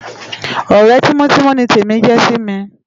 Òrè timòtimò ni Temi jè si mi